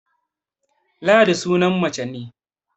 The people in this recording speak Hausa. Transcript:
Ladi sunan mace ne